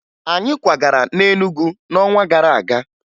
Anyị kwagara na Enugu n'ọnwa gara aga